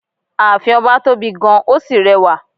Ààfin ọba tóbi gan-an ó sì rẹwà.